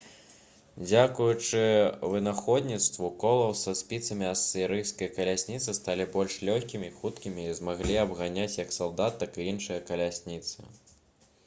дзякуючы вынаходніцтву колаў са спіцамі асірыйскія калясніцы сталі больш лёгкімі хуткімі і змаглі абганяць як салдат так і іншыя калясніцы